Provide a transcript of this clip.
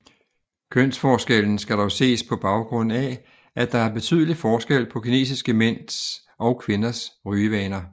Kønsforskellen skal dog ses på baggrund af at der er betydelig forskel på kinesiske mænd og kvinders rygevaner